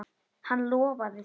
Hann lofaði því.